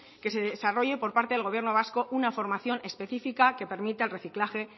que se desarrolle por medio del gobierno vasco una formación específica que permita el reciclaje